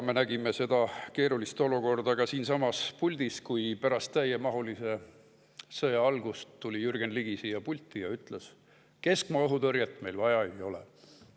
Me nägime seda keerulist olukorda ka siinsamas puldis, kui pärast täiemahulise sõja algust tuli Jürgen Ligi siia pulti ja ütles, et keskmaa õhutõrjet meil vaja ei ole.